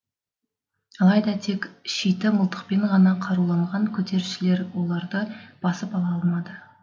алайда тек шиті мылтықпен ғана қаруланған көтерілісшілер оларды басып ала алмады